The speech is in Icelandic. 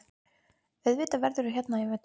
Auðvitað verðurðu hérna í vetur.